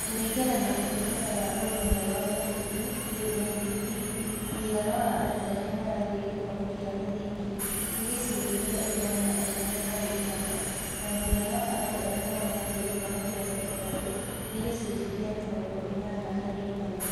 Kũringana na Ũtungata wa Ũrũmwe wa Mabũrũri(UNDP), mũigana wa andũ arĩa marathiĩ gĩthomo kĩa mũthingi nĩ gĩcunjĩ kĩa igana na ithano harĩ igana na mũigana wa andũ arĩa marathiĩ gĩthomo kĩa sekondarĩ nĩ gĩcunjĩ kĩa mĩrongo ĩnana harĩ igana.